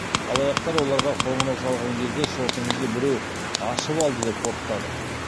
алаяқтар оларға қоңырау шалған кезде шотыңызды біреу ашып алды деп қорқытады